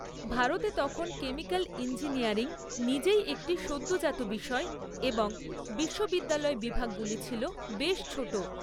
ভারতে তখন chemical engineering নিজেই একটি সদ্যোজাত বিষয় এবং বিশ্ববিদ্যালয় বিভাগগুলি ছিল বেশ ছোট।